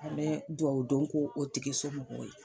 An mɛ duwawu dɔn ko o tigisomɔgɔw ye